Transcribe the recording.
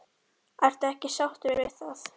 Ertu ekki sáttur við það?